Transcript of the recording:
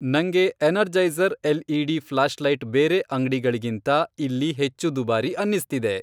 ನಂಗೆ Energizer LED. Flashlight ಬೇರೆ ಅಂಗ್ಡಿಗಳಿಗಿಂತ ಇಲ್ಲಿ ಹೆಚ್ಚು ದುಬಾರಿ ಅನ್ನಿಸ್ತಿದೆ.